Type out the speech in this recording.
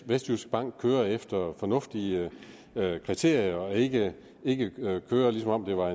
vestjyskbank kører efter fornuftige kriterier og ikke kører som om det var